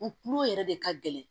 U kulo yɛrɛ de ka gɛlɛn